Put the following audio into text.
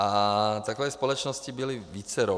A takových společností bylo vícero.